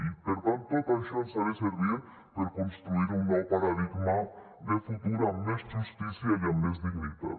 i per tant tot això ens ha de servir per construir un nou paradigma de futur amb més justícia i amb més dignitat